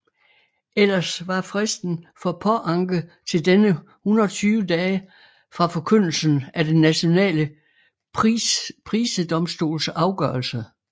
Ellers var fristen for påanke til denne 120 dage fra forkyndelsen af den nationale prisedomstols afgørelse